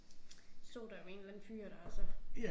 Stod der jo en eller anden fyr der og så